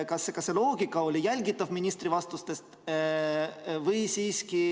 Kas see loogika oli jälgitav ministri vastustes?